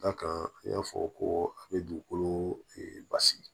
Da kan n y'a fɔ ko a bɛ dugukolo basigi